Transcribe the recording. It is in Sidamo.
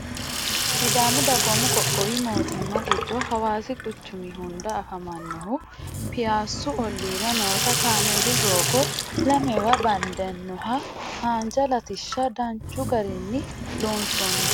sidaamu dagoomu qoqqowi mootimma giddo hawaasi quchumi hunda afamannohu piyaassu olliira noota kameelu doogo lamewa badannoha haanja latishsha danchu garinni lonsoonniho